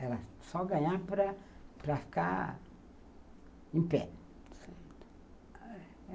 Era só ganhar para para ficar em pé. Certo.